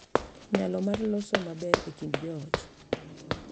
Nyalo mar loso maber e kind joot